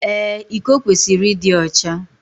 Ee, iko kwesịrị ịdị ọcha